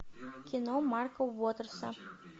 кино марка уотерса